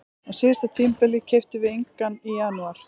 Á síðasta tímabili keyptum við engan í janúar.